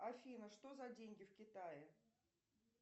афина что за деньги в китае